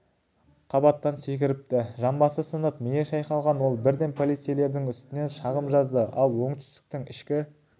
қабаттан секіріпті жамбасы сынып миы шайқалған ол бірден полицейлердің үстінен шағым жазды ал оңтүстіктің ішкі